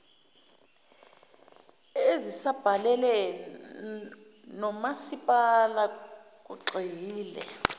ezisabalele nomasipala kugxile